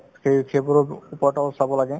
সেই~ সেইবোৰতো চাব লাগে